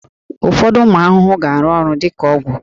Ụfọdụ ụmụ ahụhụ ga-arụ ọrụ dị ka ọgwụ